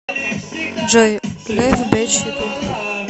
джой лиф бич ютуб